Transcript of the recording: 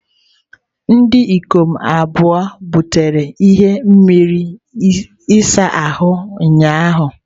Ndị ikom abụọ butere n'ime mmiri ịsa ahụ ụnyahụ.